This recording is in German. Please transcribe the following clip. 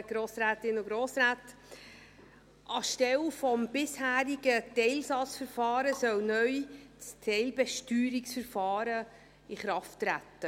Anstelle des bisherigen Teilsatzverfahrens soll neu das Teilbesteuerungsverfahren in Kraft treten.